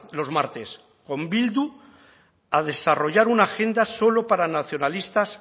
los martes con bildu a desarrollar una agenda solo para nacionalistas